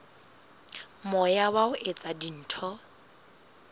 moya wa ho etsa dintho